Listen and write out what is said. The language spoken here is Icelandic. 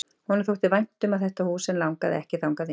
Honum þótti vænt um þetta hús en langaði ekki þangað inn.